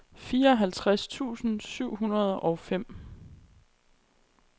fireoghalvtreds tusind syv hundrede og fem